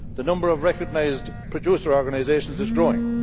The number of recognised producer organisations is growing.